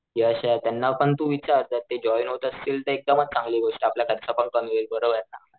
यशे त्यांना पण तू विचार जर ते जॉईन होत असतील तर एकदम चांगली गोष्ट आपला खर्च पण कमी होईल बरोबर ना.